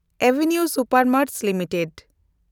ᱮᱵᱷᱤᱱᱤᱣ Supermarts limited